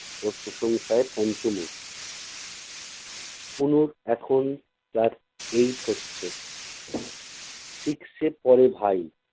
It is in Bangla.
ওর প্রশংসায় পঞ্চমুখ। তনুর এখন class eight হচ্ছে six এ পড়ে ভাই।